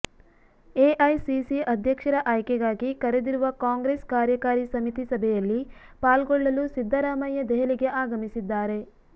AICC ಅಧ್ಯಕ್ಷರ ಆಯ್ಕೆಗಾಗಿ ಕರೆದಿರುವ ಕಾಂಗ್ರೆಸ್ ಕಾರ್ಯಕಾರಿ ಸಮಿತಿ ಸಭೆಯಲ್ಲಿ ಪಾಲ್ಗೊಳ್ಳಲು ಸಿದ್ದರಾಮಯ್ಯ ದೆಹಲಿಗೆ ಆಗಮಿಸಿದ್ದಾರೆ